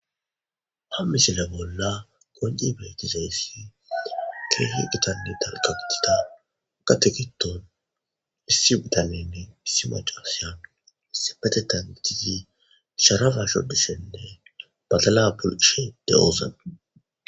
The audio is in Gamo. hammisile bolla gonci beetizeyssi keehi gitanni dalka gitida ka tegiton issi bitanenne issi macasiya issi petetan gitizi sharafa shoddisenne batala bulishe de7oza